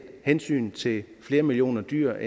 hensynet til flere millioner dyr